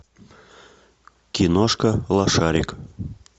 киношка лошарик